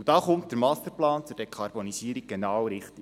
Da kommt der Masterplan zur Dekarbonisierung genau richtig.